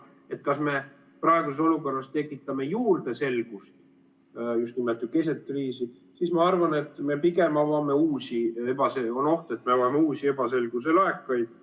Kui mõelda, kas me praeguses olukorras tekitame juurde selgust keset kriisi, siis ma arvan, on oht, et me pigem avame uusi ebaselguse laekaid.